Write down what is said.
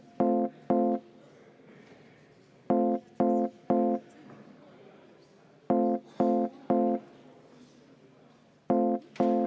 Ei saa võtta vaheaega enne.